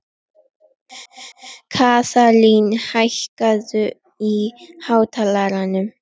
Kaðlín, hækkaðu í hátalaranum.